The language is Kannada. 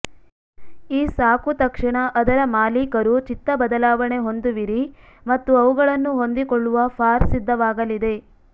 ಈ ಸಾಕು ತಕ್ಷಣ ಅದರ ಮಾಲೀಕರು ಚಿತ್ತ ಬದಲಾವಣೆ ಹೊಂದುವಿರಿ ಮತ್ತು ಅವುಗಳನ್ನು ಹೊಂದಿಕೊಳ್ಳುವ ಫಾರ್ ಸಿದ್ಧವಾಗಲಿದೆ